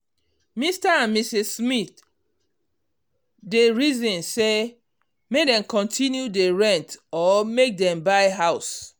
mr and mrs smith dey reason say make dem continue dey rent or make dem buy house.